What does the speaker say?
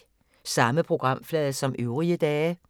Samme programflade som øvrige dage